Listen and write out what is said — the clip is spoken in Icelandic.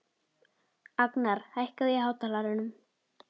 Agnar, hækkaðu í hátalaranum.